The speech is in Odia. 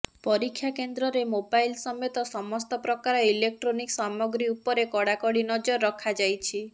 ପରୀକ୍ଷା କେନ୍ଦ୍ରରେ ମୋବାଇଲ୍ ସମେତ ସମସ୍ତ ପ୍ରକାର ଇଲୋକଟ୍ରନିକ ସାମଗ୍ରୀ ଉପରେ କଡ଼ାକଡ଼ି ନଜର ରଖାଯାଇଛି